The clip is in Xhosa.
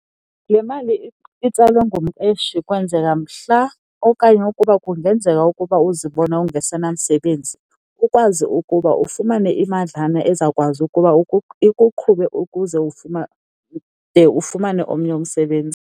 Le mali itsalwa ngumqeshi kwenzela mhla okanye ukuba kungenzeka ukuba uzibone ungasenamsebenzi ukwazi ukuba ufumane imadlana ezawukwazi ukuba ikuqhube ukuze de ufumane omnye umsebenzi.